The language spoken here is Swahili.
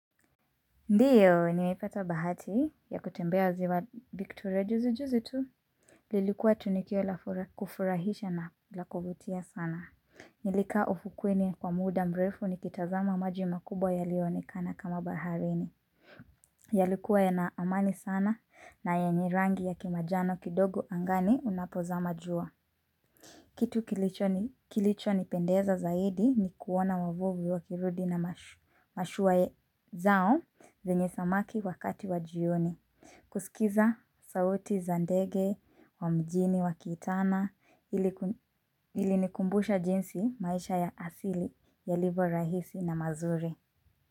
Ndio, nimepata bahati ya kutembea ziwa Victoria juzi juzi tu. Lilikuwa tunikio la fura, kufurahisha na la kuvutia sana. Nilikaa ufukweni kwa muda mrefu nikitazama maji makubwa yalioonekana kama baharini. Yalikuwa yana amani sana na yenye rangi ya kimajano kidogo angani unapozama jua. Kitu kilicho nipendeza zaidi ni kuona wavuvi wakirudi na mashuwae zao zenye samaki wakati wa jioni. Kusikiza sauti za ndege wa mjini wakiitana ilinikumbusha jinsi maisha ya asili yalivyo rahisi na mazuri.